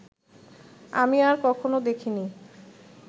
আমি আর কখনো দেখিনি